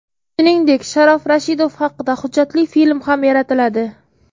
Shuningdek, Sharof Rashidov haqida hujjatli film ham yaratiladi.